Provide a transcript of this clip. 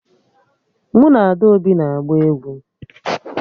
Mụ na Adaobi na-agba egwu